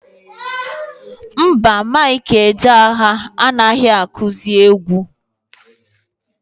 Mba, Mike Ejeagha anaghị akụzị egwu.